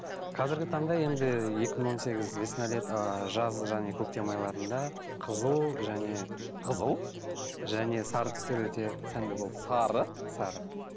қазіргі таңда енді екі мың он сегіз весна лето ыыы жаз және көктем айларында қызыл және қызыл және сары түстер өте сәнді болды сары сары